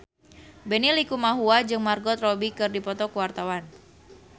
Benny Likumahua jeung Margot Robbie keur dipoto ku wartawan